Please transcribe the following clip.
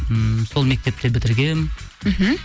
ммм сол мектепті бітіргенмін мхм